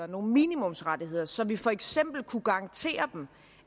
nogle minimumsrettigheder så vi for eksempel kunne garantere dem